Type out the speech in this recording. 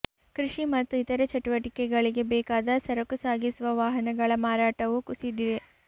ಕೃಷಿ ಮತ್ತು ಇತರೆ ಚಟುವಟಿಕೆಗಳಿಗೆ ಬೇಕಾದ ಸರಕು ಸಾಗಿಸುವ ವಾಹನಗಳ ಮಾರಾಟವೂ ಕುಸಿದಿದೆ